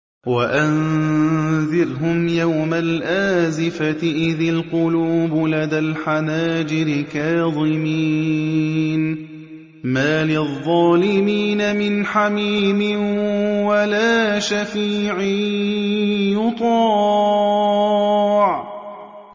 وَأَنذِرْهُمْ يَوْمَ الْآزِفَةِ إِذِ الْقُلُوبُ لَدَى الْحَنَاجِرِ كَاظِمِينَ ۚ مَا لِلظَّالِمِينَ مِنْ حَمِيمٍ وَلَا شَفِيعٍ يُطَاعُ